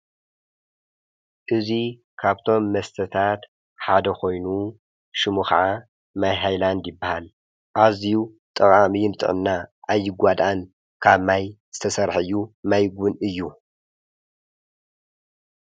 እዚ ካብቶም መስተታት ሓደ ኮይኑ፤ ሹሙ ከዓ ማይ ሃይላንድ ይበሃል፡፡ አዝዩ ጠቃሚ እዩ፣ ንጥዕና አይጓዳእን፣ ካብ ማይ ዝተሰርሐ እዩ፣ ማይ እውን እዩ፡፡